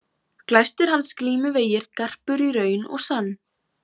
Glæstir hans glímuvegir garpur í raun og sann.